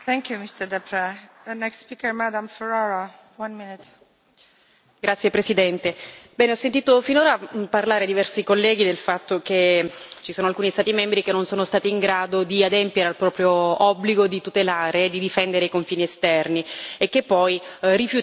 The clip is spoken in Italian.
Signora Presidente, onorevoli colleghi, ho sentito finora parlare diversi colleghi del fatto che ci sono alcuni Stati membri che non sono stati in grado di adempiere al proprio obbligo di tutelare e di difendere i confini esterni e che poi rifiutano l'aiuto che viene offerto loro dall'Unione europea.